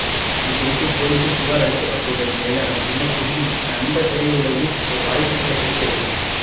இதுகுறித்து போலீசில் புகார் அளிக்கப்பட்டுள்ள நிலையில் அதன்பின்னர் ஸ்ருதிக்கு கன்னட திரையுலகில் ஒரு வாய்ப்பு கூட கிடைக்கவில்லை